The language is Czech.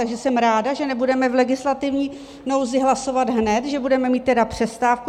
Takže jsem ráda, že nebudeme v legislativní nouzi hlasovat hned, že budeme mít tedy přestávku.